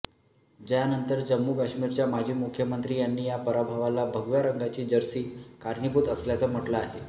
ज्यानंतर जम्मू काश्मीरच्या माजी मुख्यमंत्री यांनी या पराभवाला भगव्या रंगाची जर्सी कारणीभूत असल्याचं म्हटलं आहे